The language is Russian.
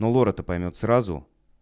но лор это поймёт сразу